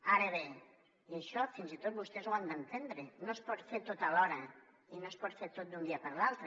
ara bé i això fins i tot vostès ho han d’entendre no es pot fer tot alhora i no es pot fer tot d’un dia per l’altre